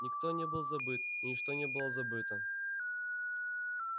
никто не был забыт и ничто не было забыто